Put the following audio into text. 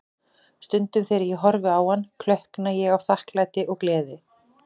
Stundum þegar ég horfi á hann, klökkna ég af þakklæti og gleði.